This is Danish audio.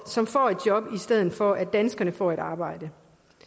som får et job i stedet for at danskerne får et arbejde